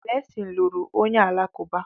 Blessing lụrụ onye Alakụba